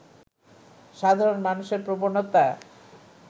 সাধারণ মানুষের প্রবণতা